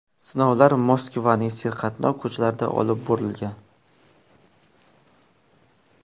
Sinovlar Moskvaning serqatnov ko‘chalarida bo‘lib o‘tgan.